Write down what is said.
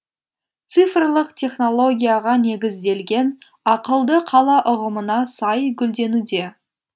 цифрлық технологияға негізделген ақылды қала ұғымына сай гүлденуде